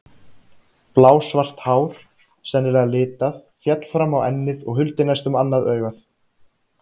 Blásvart hár, sennilega litað, féll fram á ennið og huldi næstum annað augað.